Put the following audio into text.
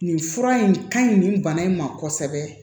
Nin fura in ka ɲi nin bana in ma kosɛbɛ